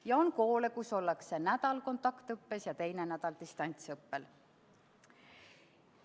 Ja on koole, kus ollakse üks nädal kontaktõppel ja teine nädal distantsõppel.